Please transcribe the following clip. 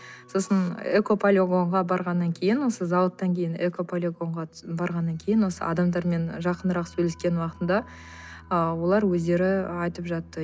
сосын экополигонға барғаннан кейін осы зауыттан кейін экополигонға барғаннан кейін осы адамдармен жақынырақ сөйлескен уақытымда ы олар өздері айтып жатты